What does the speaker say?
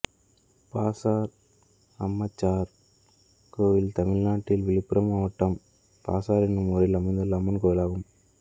பாசார் அம்மச்சார் கோயில் தமிழ்நாட்டில் விழுப்புரம் மாவட்டம் பாசார் என்னும் ஊரில் அமைந்துள்ள அம்மன் கோயிலாகும்